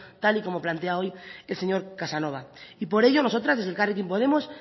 tal y como plantea hoy el señor casanova y por ello nosotras desde elkarrekin podemos